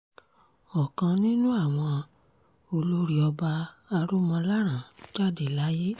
ọ̀kan nínú àwọn olórí ọba aromọlọ́rán jáde láyé